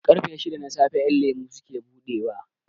Ƙarfe shida na safe kasuwar ƴan lemo suke buɗewa